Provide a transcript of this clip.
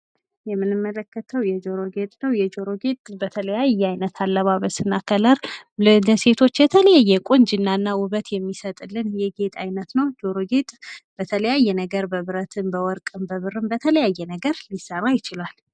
የምንመለከተው የጆሮ ጌጥ ነው የጆሮ ጌጥ በተለያየ አይነት አለባበስ እና ቀለም ለሴቶች የተለያየ ቁንጅናና ዉበት የሚሰጥልን ነው ፤ ጆሮ ጌጥ በተለያየ ነገር በብረትም፣ በወርቅም፣ በብርም፣ በተለያየ ነገር ሊሰራ ይችላል።